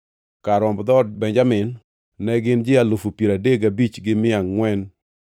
Kar romb dhood Benjamin ne gin ji alufu piero adek gabich gi mia angʼwen (35,400).